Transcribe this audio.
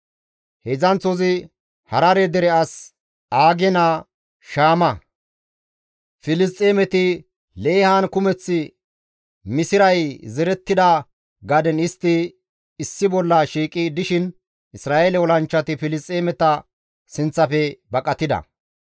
Heedzdzanththozi Harare dere as Aage naa Shaama; Filisxeemeti Leehan kumeth misiray zerettida gaden istti issi bolla shiiqi dishin Isra7eele olanchchati Filisxeemeta sinththafe baqatida.